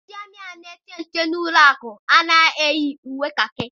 Ndị amị ahụ na-eche nche n'ụlọ akụ anaghị eyi uwe kakị ha.